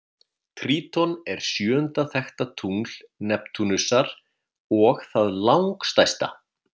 Tríton er sjöunda þekkta tungl Neptúnusar og það langstærsta.